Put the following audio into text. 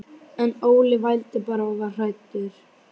En Óli vældi bara og var hræddur.